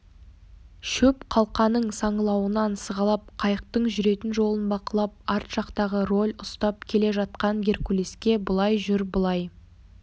шөп қалқаның саңылауынан сығалап қайықтың жүретін жолын бақылап арт жақтағы роль ұстап келе жатқан геркулеске былай жүр былай